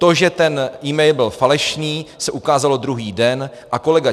To, že ten mail byl falešný, se ukázalo druhý den a kolega